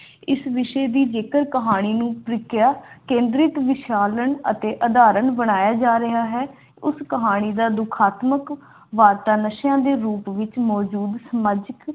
ਇਸ ਵਿਸ਼ੇ ਦੀ ਜੇਕਰ ਕਹਾਣੀ ਨੂੰ ਪ੍ਰੀਖਿਆ ਕੇਂਦ੍ਰਿਤ ਵਿਚਾਰਨ ਅਤੇ ਧਾਰਨ ਬਣਾਇਆ ਜਾ ਰਿਹਾ ਹੈ ਕਹਾਣੀ ਦਾ ਦੁਖਾਂਤ ਨਸ਼ੇ ਨਸ਼ੇ ਦੇ ਸਮਾਜ